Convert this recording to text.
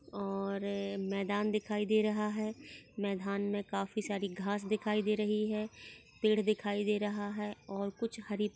और मैदान दिखाई दे रहा है मैदान मे काफी सारी घास दिखाई दे रही हैं पेड़ दिखाई दे रहा है और कुछ हरी--